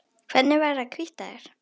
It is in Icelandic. Hvernig væri að hvítta þær?